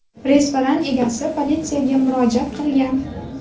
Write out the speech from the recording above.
Restoran egasi politsiyaga murojaat qilgan.